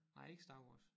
Nej ikke Star Wars